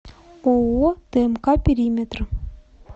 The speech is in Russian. ооо тмк периметр